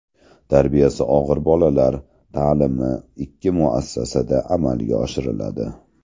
Tarbiyasi og‘ir bolalar ta’limi ikki muassasada amalga oshiriladi.